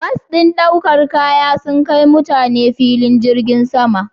Bas ɗin ɗaukar kaya sun kai mutane filin jirgin saman.